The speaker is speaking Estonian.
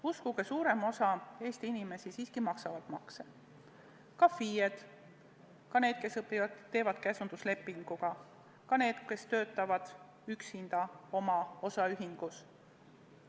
Uskuge, suurem osa Eesti inimesi siiski maksab makse – ka FIE-d, ka need, kes töötavad käsunduslepinguga, ka need, kes töötavad üksinda oma osaühingus.